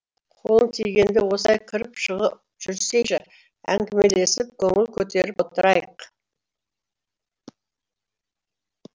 қолың тигенде осылай кіріп шығып жүрсейші әңгімелесіп көңіл көтеріп отырайық